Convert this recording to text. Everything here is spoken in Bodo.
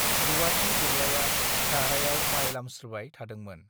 रूवाथि दुरलाइया दाहृायाव माइ लामस्त्रोबाय थादोंमोन